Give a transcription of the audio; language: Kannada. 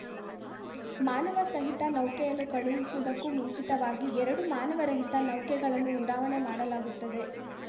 ಮಾನವ ಸಹಿತ ನೌಕೆಯನ್ನು ಕಳುಹಿಸುವುದಕ್ಕೂ ಮುಂಚಿತವಾಗಿ ಎರಡು ಮಾನವರಹಿತ ನೌಕೆಗಳನ್ನು ಉಡಾವಣೆ ಮಾಡಲಾಗುತ್ತದೆ